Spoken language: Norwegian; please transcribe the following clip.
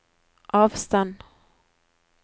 avstand